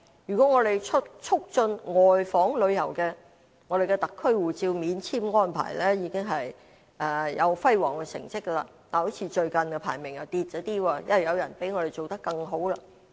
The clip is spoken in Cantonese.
如果我們促進外訪旅遊，我們的特區護照免簽安排已經有輝煌的成績，但最近的排名好像下跌了，因為有人比我們做得更好。